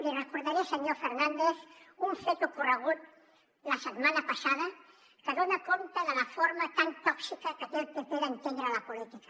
li recordaré senyor fernández un fet ocorregut la setmana passada que dona compte de la forma tan tòxica que té el pp d’entendre la política